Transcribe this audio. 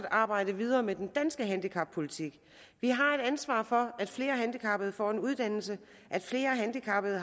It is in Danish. arbejde videre med den danske handicappolitik vi har et ansvar for at flere handicappede får en uddannelse at flere handicappede